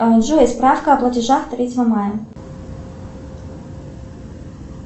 джой справка о платежах третьего мая